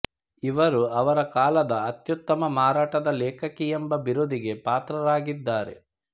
ಇವರು ಅವರ ಕಾಲದ ಅತ್ಯುತ್ತಮ ಮಾರಾಟದ ಲೇಖಕಿಯಂಬ ಬಿರುದಿಗೆ ಪಾತ್ರರಾಗಿದ್ದಾರೆ